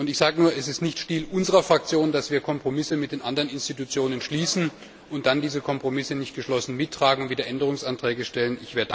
Ich sage nur, es ist nicht Stil unserer Fraktion, dass wir Kompromisse mit den anderen Institutionen schließen und dann diese Kompromisse nicht geschlossen mittragen, sondern wieder Änderungsanträge stellen.